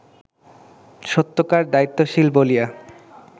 সত্যকার দায়িত্বশীল বলিয়া